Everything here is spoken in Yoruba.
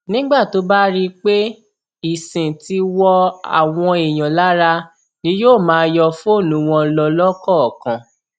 nígbà tó bá rí i pé ìsìn ti wọ àwọn èèyàn lára ni yóò máa yọ fóònù wọn lọ lọkọọkan